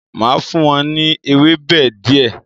Máa fún wọn ní ewébẹ̀ di ẹ